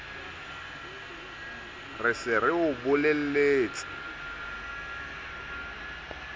re se re o bolelletse